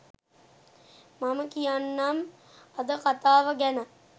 මම කියන්නම් අද කතාව ගැන